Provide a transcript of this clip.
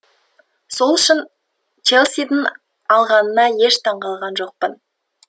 сол үшін челсидің алғанына еш таңғалған жоқпын